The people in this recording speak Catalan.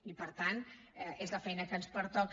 i per tant és la feina que ens pertoca